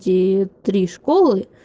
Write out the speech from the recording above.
все три школы